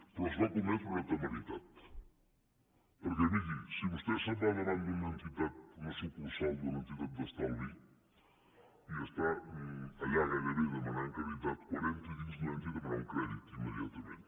però es va cometre una temeritat perquè miri si vostè se’n va davant d’una sucursal d’una entitat d’estalvi i està allà gairebé demanant caritat quan entri a dins no entri a demanar un crèdit immediatament